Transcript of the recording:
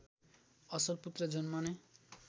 असल पुत्र जन्माउने